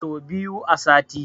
So biyu a sati